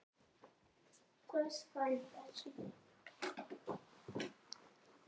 Nei, alls ekki.